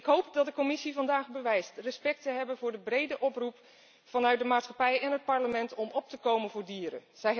Ik hoop dat de Commissie vandaag bewijst respect te hebben voor de brede oproep vanuit de maatschappij en het Parlement om op te komen voor dieren.